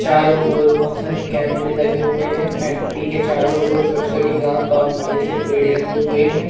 चारो ओर बहोत सारे कैमरे लगे हुए हैं फैक्ट्री के चारो ओर छोटी छोटी घास औ बड़े से पेड़ लगे हुए है।